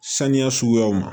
Saniya suguyaw ma